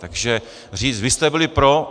Takže říct: Vy jste byli pro!